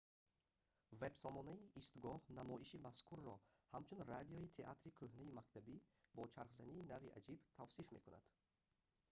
вебсомонаи истгоҳ намоиши мазкурро ҳамчун радиои театри кӯҳнаи мактабӣ бо чархзании нави аҷиб тавсиф мекунад